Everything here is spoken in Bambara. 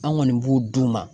An kɔni b'u d'u ma